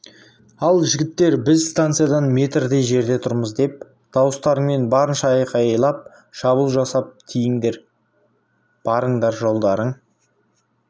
ал жігіттер біз станциядан метрдей жерде тұрмыз деп дауыстарыңмен барынша айқайлап шабуыл жасап тиіңдер барыңдар жолдарың